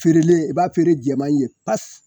Feerelen i b'a feere jɛman ye pas